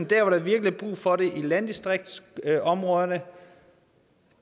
der hvor der virkelig er brug for det i landdistriktsområderne